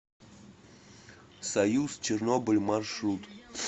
союз чернобыль маршрут